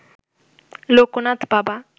লোকনাথ বাবা